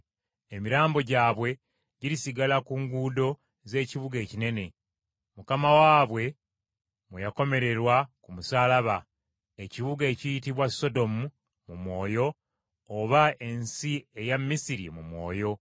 Emirambo gyabwe girisigala mu nguudo z’ekibuga ekinene, Mukama waabwe mwe yakomererwa ku musaalaba; ekibuga ekiyitibwa “Sodomu” mu mwoyo oba ensi eya “Misiri” mu mwoyo